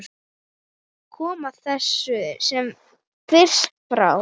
Koma þessu sem fyrst frá.